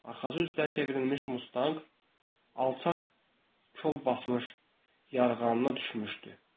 Arxası üzdər çevrilmiş Mustang alçaq kol basmış yarğanına düşmüşdü.